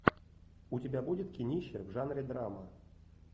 у тебя будет кинище в жанре драмы